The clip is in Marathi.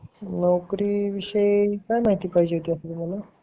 नोकरी विषयी काय माहिती पाहिजे तुम्हाला